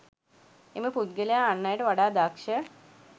එම පුද්ගලයා අන් අයට වඩා දක්ෂ